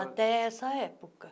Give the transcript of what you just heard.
Até essa época.